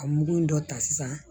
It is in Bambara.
A mugu in dɔ ta sisan